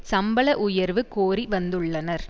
சம்பள உயர்வு கோரி வந்துள்ளனர்